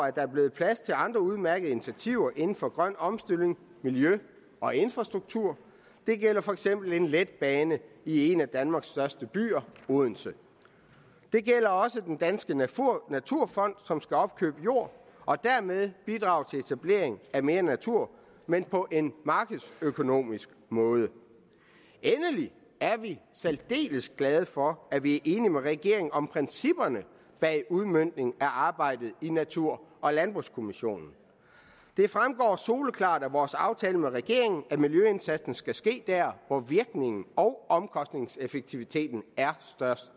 at der er blevet plads til andre udmærkede initiativer inden for grøn omstilling miljø og infrastruktur det gælder for eksempel en letbane i en af danmarks største byer odense det gælder også den danske naturfond som skal opkøbe jord og dermed bidrage til etablering af mere natur men på en markedsøkonomisk måde endelig er vi særdeles glade for at vi er enige med regeringen om principperne bag udmøntningen af arbejdet i natur og landbrugskommissionen det fremgår soleklart af vores aftale med regeringen at miljøindsatsen skal ske der hvor virkningen og omkostningsstyringen er størst